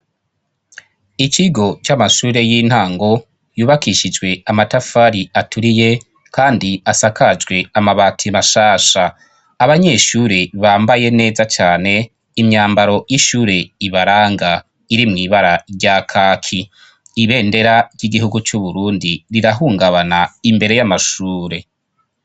ikigo cy'amashure y'intango yubakishijwe amatafari aturiye kandi asakajwe amabati mashasha abanyeshure bambaye neza cyane imyambaro y'ishure ibaranga iri mwibara rya kaki ibendera ry'igihugu cy'uburundi rirahungabana imbere y'amashure